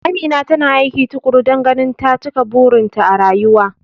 Amina tana aiki tukuru dan ganin ta cika burin ta a rayuwa